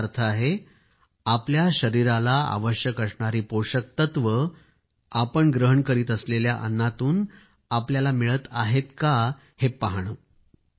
तर याचा अर्थ आहे आपल्या शरीराला आवश्यक असणारी पोषक तत्वे आपण ग्रहण करीत असलेल्या अन्नातून मिळत आहेतका हे पाहणे